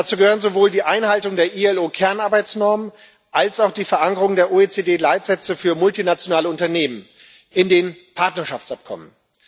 Dazu gehören sowohl die Einhaltung der IAO Kernarbeitsnormen als auch die Verankerung der OECD Leitsätze für multinationale Unternehmen in den Partnerschaftsabkommen.